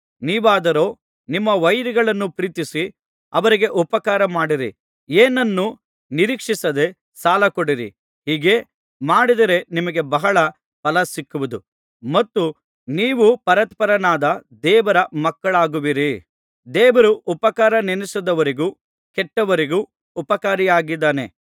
ನೀವಾದರೋ ನಿಮ್ಮ ವೈರಿಗಳನ್ನು ಪ್ರೀತಿಸಿ ಅವರಿಗೆ ಉಪಕಾರಮಾಡಿರಿ ಏನನ್ನೂ ನಿರೀಕ್ಷಿಸದೆ ಸಾಲಕೊಡಿರಿ ಹೀಗೇ ಮಾಡಿದರೆ ನಿಮಗೆ ಬಹಳ ಫಲಸಿಕ್ಕುವುದು ಮತ್ತು ನೀವು ಪರಾತ್ಪರನಾದ ದೇವರ ಮಕ್ಕಳಾಗುವಿರಿ ದೇವರು ಉಪಕಾರನೆನಸದವರಿಗೂ ಕೆಟ್ಟವರಿಗೂ ಉಪಕಾರಿಯಾಗಿದ್ದಾನೆ